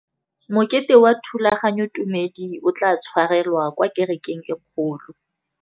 Mokete wa thulaganyôtumêdi o tla tshwarelwa kwa kerekeng e kgolo.